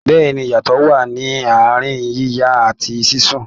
Bẹ́ẹ̀ni, iyatọ wa ní àárín yíyan àti sísun